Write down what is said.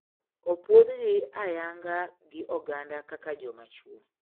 Opuondhgi ayanga gi oganda kaka joma chwo.